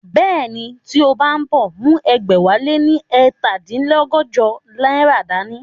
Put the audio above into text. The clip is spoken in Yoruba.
Bẹ́ẹ̀ni, tí o bá ń bọ̀, mú ẹgbẹ̀wáléní ẹ̀ta dín lọ́gọ́jọ náírà dá ní